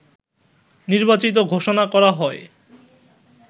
নির্বাচিত ঘোষণা করা হয়